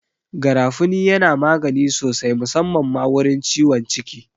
Garafuni yana magani sosai musamman ma wurin ciwon ciki